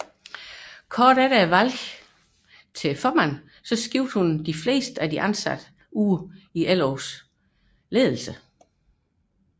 Få dage efter valget til formand udskiftede hun størstedelen af den ansatte ledelse i LO